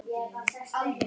Gylfi elti.